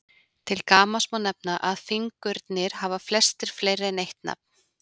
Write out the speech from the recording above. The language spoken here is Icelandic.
Til gamans má nefna að fingurnir hafa flestir fleiri en eitt nafn.